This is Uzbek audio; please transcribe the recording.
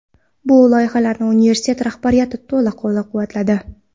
Bu loyihalarimni universitet rahbariyati to‘la qo‘llab-quvvatladi.